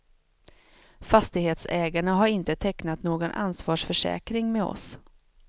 Fastighetsägarna har inte tecknat någon ansvarsförsäkring med oss.